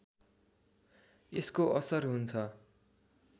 यसको असर हुन्छ